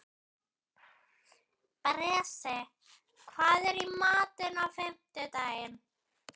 Bresi, hvað er í matinn á fimmtudaginn?